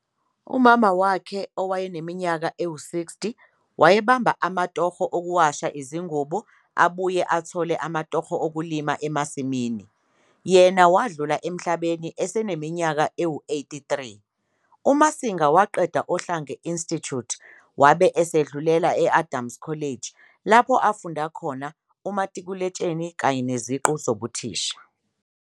Umama wakhe owaneminyaka engama-60 wabemaba amatoho okuwasha izingubo abuye athole amatoho owkulima emasimini, yena wadlula emhlabeni eseneminyaka engama-83. UMasinga waqeda Ohlange Institute wabe sedlulela e-Adams College lapho afunda khona umatikuletsheni kanye neziqu zobuthisha.